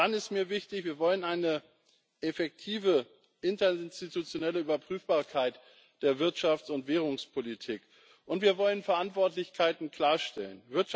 Dann ist mir wichtig Wir wollen eine effektive interinstitutionelle Überprüfbarkeit der Wirtschafts und Währungspolitik, und wir wollen Verantwortlichkeiten klarstellen.